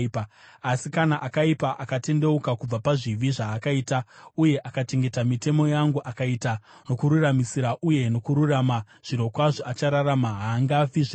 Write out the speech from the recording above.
“Asi kana akaipa akatendeuka kubva pazvivi zvaakaita uye akachengeta mitemo yangu, akaita nokururamisira uye nokururama, zvirokwazvo achararama; haangafi zvirokwazvo.